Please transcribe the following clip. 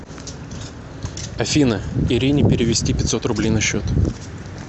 афина ирине перевести пятьсот рублей на счет